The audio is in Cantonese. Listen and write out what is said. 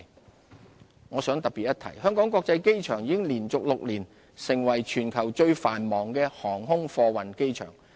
航空貨運業我想特別一提，香港國際機場已連續6年成為全球最繁忙的航空貨運機場。